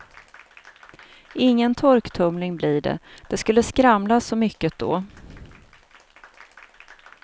Ingen torktumling blir det, det skulle skramla så mycket då.